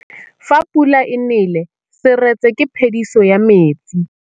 Fa pula e nelê serêtsê ke phêdisô ya metsi.